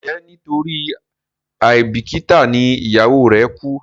njé nitori aibikita ní ìyàwó re ku?